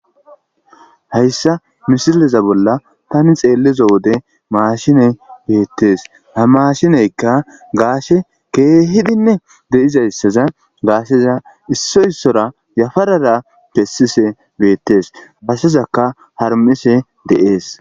hayssa misileza bolla tani xeelleza wode maashiney beettees ha mashineykka gaashe keehidinne deizayssaza gaasheza issoy issora yafarara pessise beettees gaashezaka harmise deees